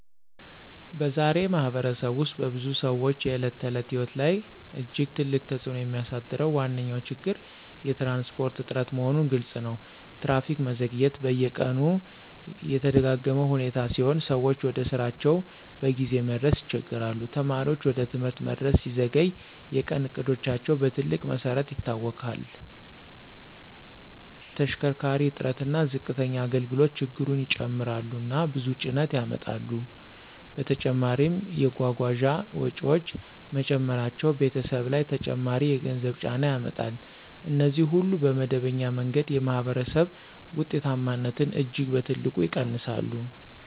በዛሬ ማኅበረሰብ ውስጥ በብዙ ሰዎች የዕለት ተዕለት ሕይወት ላይ እጅግ ትልቅ ተጽእኖ የሚያሳድረው ዋነኛ ችግር የትራንስፖርት እጥረት መሆኑ ግልፅ ነው። ትራፊክ መዘግየት በየቀኑ የተደጋጋ ሁኔታ ሲሆን ሰዎች ወደ ስራቸው በጊዜ መድረስ ይቸገሣሉ። ተማሪዎች ወደ ትምህርት መድረስ ሲዘገይ የቀን እቅዶቻቸው በትልቅ መሰረት ይታወክላሉ። ተሽከርካሪ እጥረት እና ዝቅተኛ አገልግሎት ችግሩን ይጨምራሉ እና ብዙ ጭነት ያመጣሉ። በተጨማሪም የጓጓዣ ወጪዎች መጨመራቸው ቤተሰቦች ላይ ተጨማሪ የገንዘብ ጫና ያመጣል። እነዚህ ሁሉ በመደበኛ መንገድ የማኅበረሰብ ውጤታማነትን እጅግ በትልቅ ይቀንሳሉ